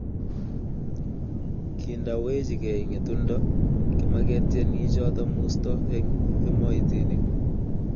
Kindawechikei ngetundo, kimaketieni choto musto eng emoitinik